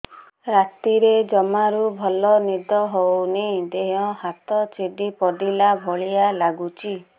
ରାତିରେ ଜମାରୁ ଭଲ ନିଦ ହଉନି ଦେହ ହାତ ଛିଡି ପଡିଲା ଭଳିଆ ଲାଗୁଚି